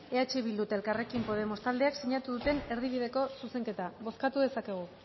eh bildu eta elkarrekin podemos taldeek sinatu duten erdi bideko zuzenketa bozkatu dezakegu